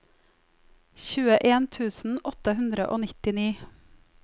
tjueen tusen åtte hundre og nittini